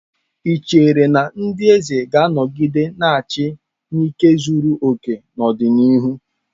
Ị chere na ndị eze ga-anọgide na-achị n'ike zuru oke n'ọdịnihu?